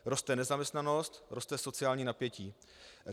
Roste nezaměstnanost, roste sociální napětí.